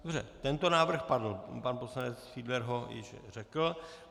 Dobře, tento návrh padl, pan poslanec Fiedler ho již řekl.